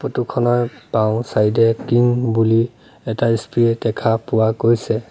ফটোখনৰ বাওঁচাইদে কিং বুলি এটা স্প্ৰে দেখা পোৱা গৈছে।